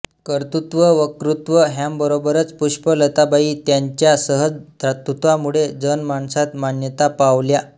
कर्तृत्व वकृत्व ह्यांबरोबरच पुष्पलताबाई त्यांच्या सहज दातृत्वामुळे जनमानसात मान्यता पावल्या